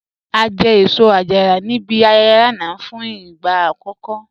A jẹ́ èṣọ-àjàrà ní ìbí ayẹyẹ̀ lánà fún igba akọkọ